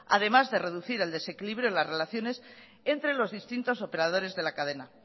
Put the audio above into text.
además de reducir el desequilibrio de las relaciones entre los distintos operadores de la cadena